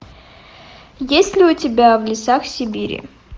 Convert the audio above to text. есть ли у тебя в лесах сибири